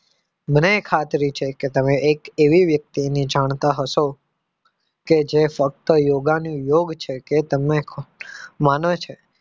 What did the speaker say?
મને એ ખાતરી છે કે તમે એક એવી વ્યક્તિ ને જાણતા હશો કે જે ફક્ત યોગા નું યોગ છે કે તમે માનો છો